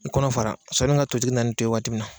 I kɔnɔ fara sɔnni ka totigi na ni to ye waati min na.